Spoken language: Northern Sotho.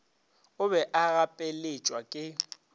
o be a gapeletšwa ke